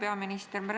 Hea peaminister!